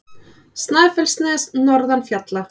Snæfellsnes norðan fjalla.